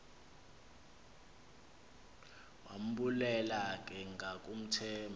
wambulela ke ngakumthemba